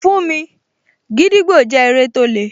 Fún mi, gídígbò jẹ́ eré tó le